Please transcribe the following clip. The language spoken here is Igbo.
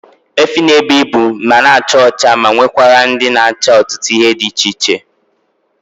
Efi na ebu ibu, ha na acha ọcha ma nwekwara ndị na acha ọtụtụ ihe dị iche iche